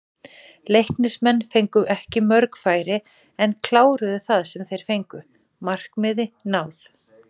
Leiknismenn fengu ekki mörg færi en kláruðu það sem þeir fengu, markmið náð?